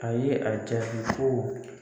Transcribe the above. A ye a jaabi ko